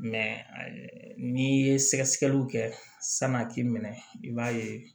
n'i ye sɛgɛsɛgɛliw kɛ sani a k'i minɛ i b'a ye